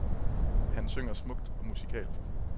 Han synger smukt og musikalsk.